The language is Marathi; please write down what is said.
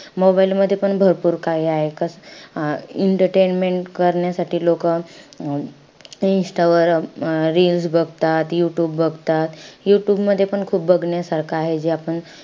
Mobile मध्येपण भरपूर काही आहे. अं entertainment करण्यासाठी लोकं अं insta वर reels बघतात, youtube बघतात. Youtube मध्ये पण खूप बघण्यासारखं आहे जे आपण,